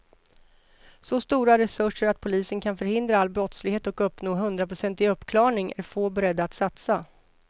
Så stora resurser att polisen kan förhindra all brottslighet och uppnå hundraprocentig uppklarning är få beredda att satsa.